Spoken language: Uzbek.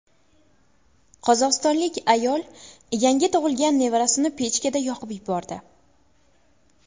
Qozog‘istonlik ayol yangi tug‘ilgan nevarasini pechkada yoqib yubordi.